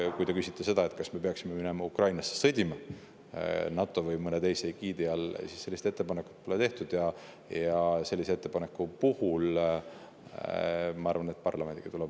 Aga kui te küsite seda, kas me peaksime minema Ukrainasse sõdima NATO või kellegi teise egiidi all, siis sellist ettepanekut pole tehtud ja sellist ettepanekut, ma arvan, tuleks parlamendiga arutada.